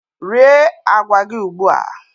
Rie agwa gị ugbu a!